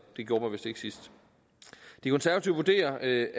det gjorde man vist ikke sidst de konservative vurderer at